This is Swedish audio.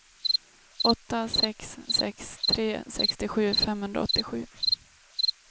åtta sex sex tre sextiosju femhundraåttiosju